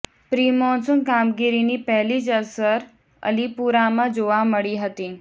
pre-monsoon કામગીરીની પહેલી જ અસર અલીપુરામાં જોવા મળી હતી